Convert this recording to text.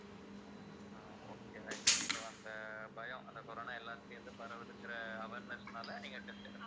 அஹ் okay right so அந்த பயம் அந்த corona எல்லார்கிட்டயும் இருந்து பரவுதுங்கிற awareness னால நீங்க எடுத்தீங்க